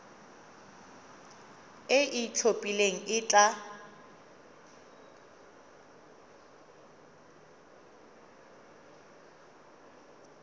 e e itlhophileng e tla